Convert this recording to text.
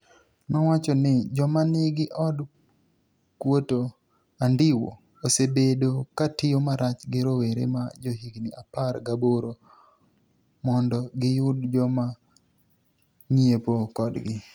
nowacho nii, joma niigi od kuoto anidiwi osebedo ka tiyo marach gi rowere ma johiginii apar gaboro monido giyud joma nig'iepo kodgi.